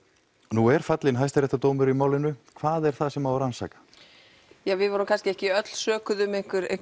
nú er fallinn hæstaréttardómur í málinu hvað er það sem á að rannsaka við vorum kannski ekki öll sökuð um